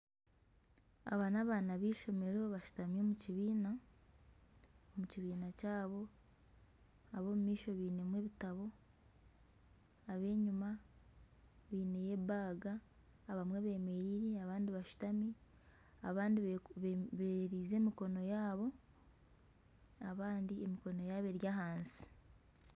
Aba n'abaana b'eishomero bashutami omu kibiina, omu kibiina kyabo. Ab'omu maisho bainemu ebitabo. Ab'enyima baineyo ebaaga . Abamwe bemereire abandi bashutami. Abandi beererize emikono yaabo, abandi emikono yaabo eri ahansi.